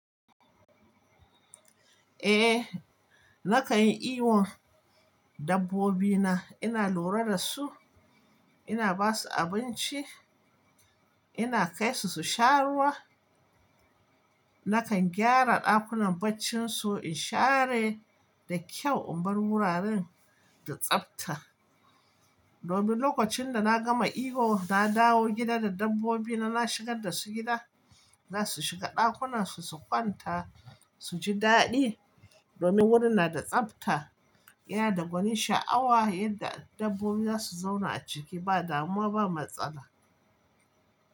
Eh, na kan yi kiwon dabbobina. Ina lura da su, ina ba su abinci, ina kai su su sha ruwa. Na kan gyara ɗakunan barcin su in share da kyau in bar wuraren da tsafta. Domin lokacin da na gama kiwo, na dawo gida da dabbobina, na shigar da su gida, na su shiga ɗakunan su, su kwanta, su ji daɗi domin wurin na da tsafta. Yana da gwanin sha'awa yadda dabbobi za su zauna a ciki ba damuwa ba matsala.